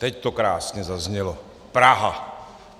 Teď to krásně zaznělo: Praha.